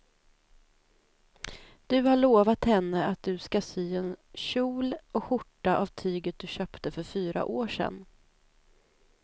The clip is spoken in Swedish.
Du har lovat henne att du ska sy en kjol och skjorta av tyget du köpte för fyra år sedan.